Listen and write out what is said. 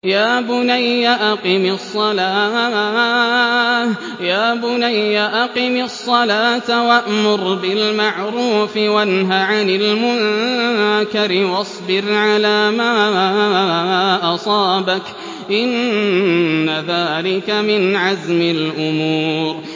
يَا بُنَيَّ أَقِمِ الصَّلَاةَ وَأْمُرْ بِالْمَعْرُوفِ وَانْهَ عَنِ الْمُنكَرِ وَاصْبِرْ عَلَىٰ مَا أَصَابَكَ ۖ إِنَّ ذَٰلِكَ مِنْ عَزْمِ الْأُمُورِ